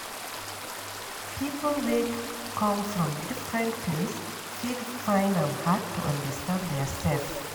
people wey come from different place fit find am hard to understand their sef